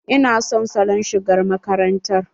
Ina son salon shigar makarantar.